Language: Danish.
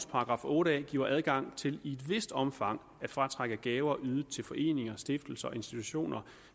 § otte a giver adgang til i et vist omfang at fratrække gaver ydet til foreninger stiftelser institutioner